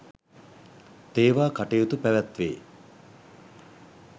තේවා කටයුතු පැවැත්වේ.